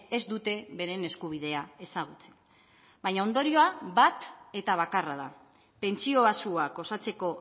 ez dute beren eskubidea ezagutzen baina ondorioa bat eta bakarra da pentsio baxuak osatzeko